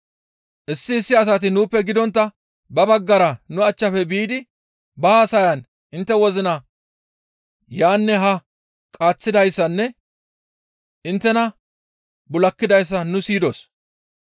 «Issi issi asati nuuppe gidontta ba baggara nu achchafe biidi ba haasayan intte wozina yaanne haa qaaththidayssanne inttena bul7akidayssa nu siyidos.